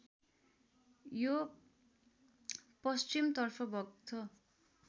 यो पश्चिमतर्फ बग्छ